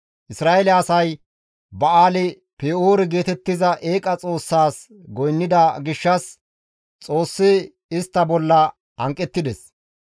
Isra7eele asay Ba7aali-Pe7oore geetettiza eeqa xoossaas goynnida gishshas Xoossi istta bolla hanqettides.